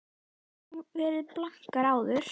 Við höfum nú verið blankar áður.